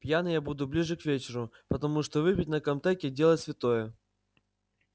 пьяный я буду ближе к вечеру потому что выпить на комтеке дело святое